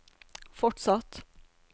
fortsatt